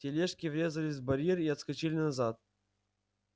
тележки врезались в барьер и отскочили назад